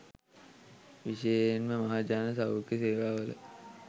විශේෂයෙන්ම මහජන සෞඛ්‍ය සේවාවල